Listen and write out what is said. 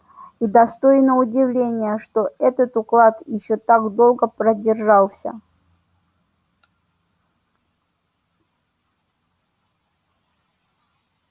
и достойно удивления что этот уклад ещё так долго продержался